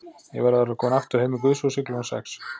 Ég verð að vera kominn aftur heim í guðshúsið klukkan sex.